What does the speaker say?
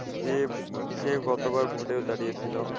যে সে গতবার vote এও দাঁড়িয়েছিল।